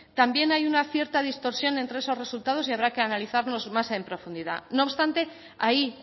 también hay una cierta distorsión entre esos resultados y habrá que analizarlos más en profundidad no obstante ahí